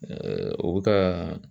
o bi ka